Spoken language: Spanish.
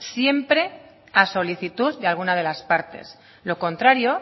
siempre a solicitud de alguna de las partes lo contrario